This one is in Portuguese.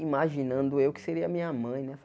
imaginando eu que seria a minha mãe, né?